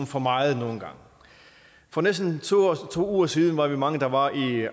for meget nogle gange for næsten to uger siden var vi mange der var i